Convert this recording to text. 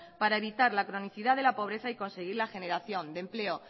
para evitar la cronicidad de la pobreza y conseguir la generación de empleo